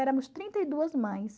éramos trinta e duas mães.